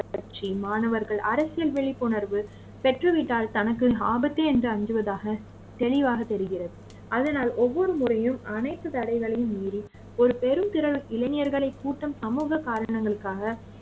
கட்சி மாணவர்கள் அரசியல் விழிப்புணர்வு பெற்றுவிட்டால் தனக்கு ஆபத்து என்று அஞ்சுவதாக தெளிவாக தெரிகிறது அதனால் ஒவ்வொரு முறையும் அனைத்து தடைகளையும் மீறி ஒரு பெரும் திரள் இளைஞர்களை கூட்டம் சமூக காரணங்களுக்காக